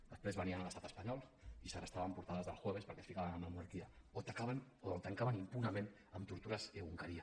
després venien a l’estat espanyol i segrestaven portades d’el jueves perquè es ficaven amb la monarquia o tancaven impunement amb tortures egunkaria